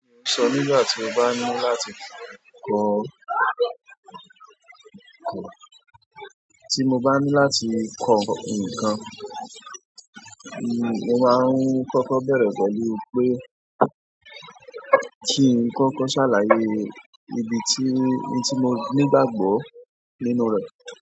Mo sọ nígbà tí mo bá ní láti kọ nǹkan, tí mo bá ní láti kọ nǹkan, mo máa ń kọ́kọ́ bẹ̀rẹ̀ pẹ̀lú pé kí n kọ́kọ́ ṣàlàyé ibi tí, ohun tí mo nígbàgbọ́ nínú rẹ̀.